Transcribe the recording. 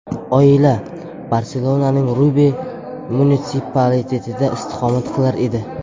Oila Barselonaning Rubi munitsipalitetida istiqomat qilar edi.